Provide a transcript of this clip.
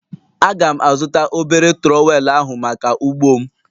Aga'm azụta obere trowel ahụ maka ugbo m.